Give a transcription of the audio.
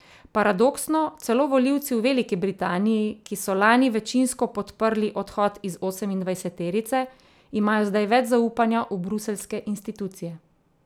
Paradoksno, celo volivci v Veliki Britanji, ki so lani večinsko podprli odhod iz osemindvajseterice, imajo zdaj več zaupanja v bruseljske institucije.